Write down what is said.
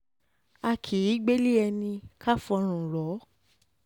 a kì um í gbélé ẹni ká fọ́rùn rọ̀